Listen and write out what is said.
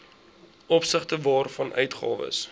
opsigte waarvan uitgawes